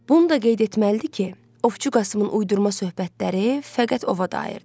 Bunu da qeyd etməlidir ki, Ovçu Qasımın uydurma söhbətləri fəqət ova dairdir.